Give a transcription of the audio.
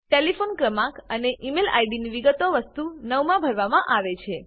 telephone ક્રમાંક અને email આઈડીની વિગતો વસ્તુ 9 માં ભરવામાં આવે છે